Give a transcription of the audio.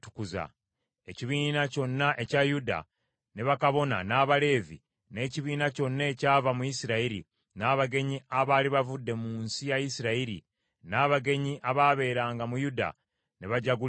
Ekibiina kyonna ekya Yuda, ne bakabona, n’Abaleevi, n’ekibiina kyonna ekyava mu Isirayiri, n’abagenyi abaali bavudde mu nsi ya Isirayiri, n’abagenyi abaabeeranga mu Yuda ne bajaguliza wamu.